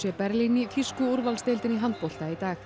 Berlín í þýsku úrvalsdeildinni í handbolta í dag